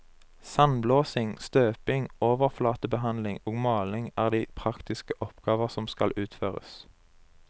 Sandblåsing, støping, overflatebehandlinger og maling er de praktiske oppgaver som skal utføres.